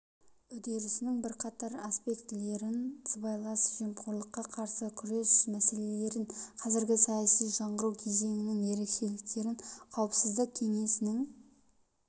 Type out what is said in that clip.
үдерісінің бірқатар аспектілерін сыбайлас жемқорлыққа қарсы күрес мәселелерін қазіргі саяси жаңғыру кезеңінің ерекшеліктерін қауіпсіздік кеңесінің